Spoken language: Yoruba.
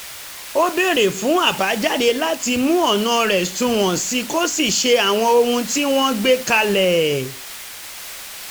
ó béèrè fún àbàjáde láti mú ọ̀nà rẹ̀ sunwọ̀n sí i kó sì ṣe àwọn ohun tí wọ́n gbé kalẹ̀